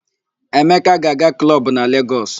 Emeka ga-aga klọb na Legọs.